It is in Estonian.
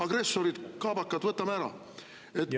Agressorid, kaabakad – võtame ära!